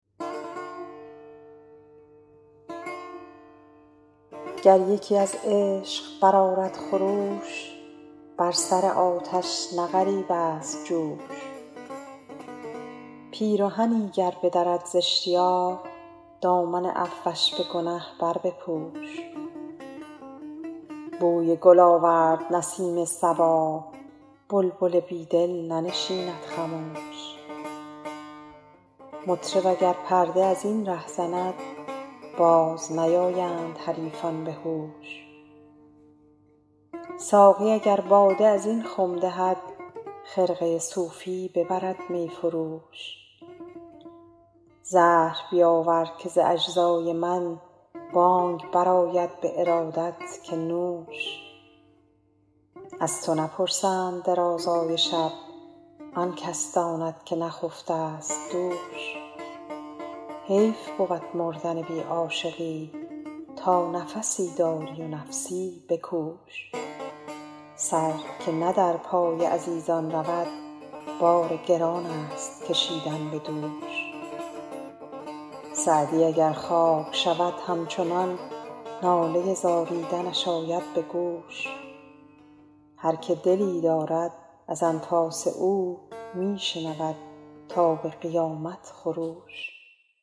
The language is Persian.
گر یکی از عشق برآرد خروش بر سر آتش نه غریب است جوش پیرهنی گر بدرد زاشتیاق دامن عفوش به گنه بربپوش بوی گل آورد نسیم صبا بلبل بی دل ننشیند خموش مطرب اگر پرده از این ره زند باز نیایند حریفان به هوش ساقی اگر باده از این خم دهد خرقه صوفی ببرد می فروش زهر بیاور که ز اجزای من بانگ برآید به ارادت که نوش از تو نپرسند درازای شب آن کس داند که نخفته ست دوش حیف بود مردن بی عاشقی تا نفسی داری و نفسی بکوش سر که نه در راه عزیزان رود بار گران است کشیدن به دوش سعدی اگر خاک شود همچنان ناله زاریدنش آید به گوش هر که دلی دارد از انفاس او می شنود تا به قیامت خروش